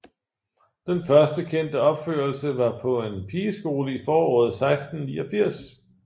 Den første kendte opførelse var på en pigeskole i foråret 1689